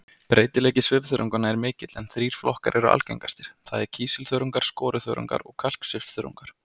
Breytileiki svifþörunganna er mikill en þrír flokkar eru algengastir, það er kísilþörungar, skoruþörungar og kalksvifþörungar.